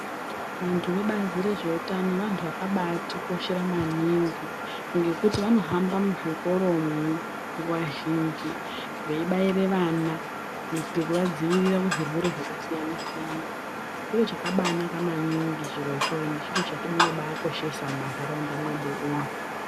Vantu vebazi rezveutano Vantu vakabaatikoshera maningi ngekuti vanohamba muzvikoramwo nguwa zhinhj veibaire vana kuitire kuvadzivirire kuzvirwere zvakasiyana siyana. Chiro chakabaanaka maningi endi Chiro chetinokoshesa mumantaraunda mwefu umwo.